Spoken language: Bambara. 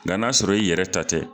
Nga na sɔrɔ i yɛrɛ ta tɛ